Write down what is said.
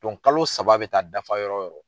kalo saba bɛ taa dafa yɔrɔ wo yɔrɔ.